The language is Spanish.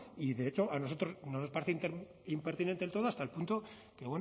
y de hecho a nosotros no nos parece impertinente del todo hasta el punto que